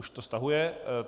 Už to stahuje.